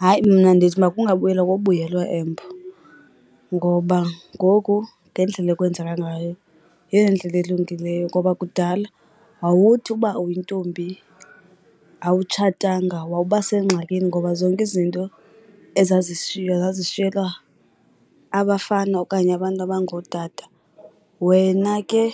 Hayi, mna ndithi makungabuyelwa kwa ubuyelwa embo. Ngoba ngoku ngendlela ekwenzeka ngayo yeyona ndlela ilungileyo, ngoba kudala wawuthi uba uyintombi awutshatanga wawuba sengxakini ngoba zonke izinto ezazishiywa zazishiyeka abafana okanye abantu abangootata. Wena ke